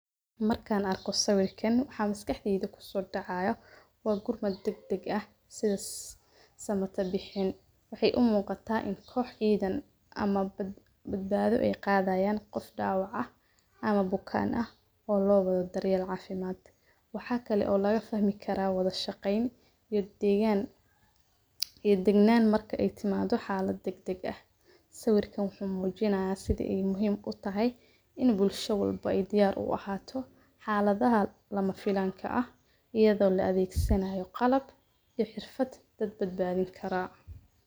Markaan arkay sawirkan waxaan miskiikheyd ku soo dhacaayo waagur degdeg ah sida samata bixin. Waxay u muuqata in koox ciidan ama badbaado ay qaadayaan qof dhaawac ah ama bukaan ah oo looga daryeel caafimaad. Waxaa kale oo laga fahmi kara wada shaqayn, iyo deegaan, iyo degnaan marka ay timaado xaalad degdeg ah. Sawirkan wuxuu muujiyanaa sidii ay muhim u tahay in bulsho welbo ay diyaar u ahaato, xaaladaha lama filanka ah iyadoo la adeegsanyayo qalab iyo xirfad dad badbaadin karaa.